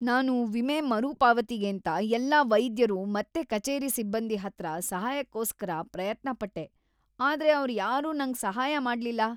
ನಾನು ವಿಮೆ ಮರುಪಾವತಿಗೇಂತ ಎಲ್ಲಾ ವೈದ್ಯರು ಮತ್ತೆ ಕಚೇರಿ ಸಿಬ್ಬಂದಿ ಹತ್ರ ಸಹಾಯಕ್ಕೋಸ್ಕರ ಪ್ರಯತ್ನಪಟ್ಟೆ, ಆದ್ರೆ ಅವ್ರ್‌ಯಾರೂ ನಂಗ್ ಸಹಾಯ ಮಾಡ್ಲಿಲ್ಲ.